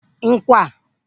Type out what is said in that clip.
ńkwà